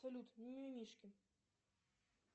салют мимимишки